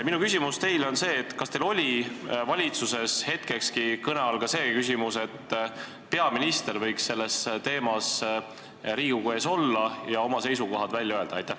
Minu küsimus teile on see: kas teil oli valitsuses hetkekski kõne all küsimus, et peaminister võiks selle teema arutelu ajal Riigikogu ees olla ja oma seisukohad välja öelda?